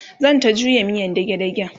zanta juya miyan dage dagen